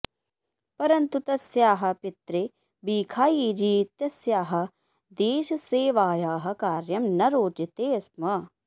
परन्तु तस्याः पित्रे भीखायीजी इत्यस्याः देशसेवायाः कार्यं न रोचते स्म